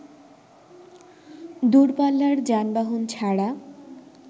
দূরপাল্লার যানবাহন ছাড়া